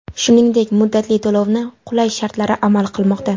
Shuningdek muddatli to‘lovni qulay shartlari amal qilmoqda.